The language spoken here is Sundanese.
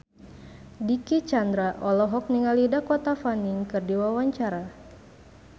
Dicky Chandra olohok ningali Dakota Fanning keur diwawancara